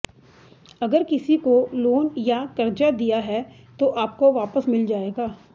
अगर किसी को लोन या कर्जा दिया है तो आपको वापस मिल जाएगा